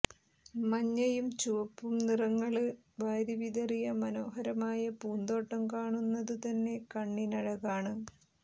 മഞ്ഞയും ചുവപ്പും നിറങ്ങള് വാരിവിതറിയ മനോഹരമായ പൂന്തോട്ടം കാണുന്നതു തന്നെ കണ്ണിനഴകാണ്